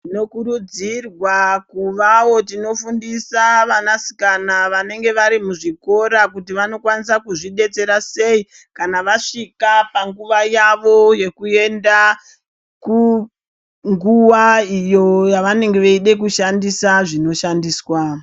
Tinokurudzirwa kuvaowo tinofundisa vanasikana vanenge vari muzvikora kuti vanokwanisa kuzvidatsira sei kana vasvika anguva yavo yokuenda ku nguwa iyo yavanenge veida kushandiswa zvinoshandiswa.